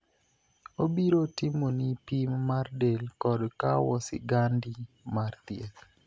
Obiro timoni pim mar del kod kawo sigandi mar thieth.